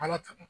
Ala ta